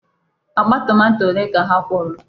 Akpa tomato ole ka ha kwọrọ?